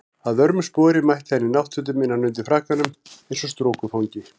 Að vörmu spori mætti hann í náttfötum innan undir frakkanum eins og strokufangi.